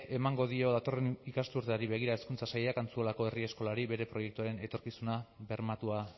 emango dio datorren ikasturteari begira hezkuntza sailak antzuolako herri eskolari bere proiektuaren etorkizuna bermatua